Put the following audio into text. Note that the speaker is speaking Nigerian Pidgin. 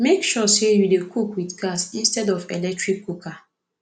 mek sure say yu dey cook wit gas instead of electric cooker